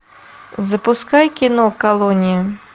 запускай кино колония